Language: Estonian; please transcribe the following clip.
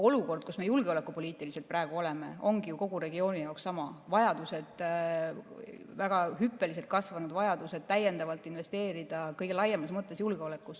Olukord, kus me julgeolekupoliitiliselt praegu oleme, ongi ju kogu regiooni jaoks sama: väga hüppeliselt kasvanud vajadused sunnivad täiendavalt investeerima kõige laiemas mõttes julgeolekusse.